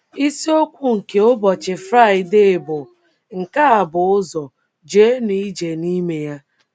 Isiokwu nke ụbọchị Friday bụ “ Nke A Bụ Ụzọ, Jeenụ Ije n’Ime Ya. ”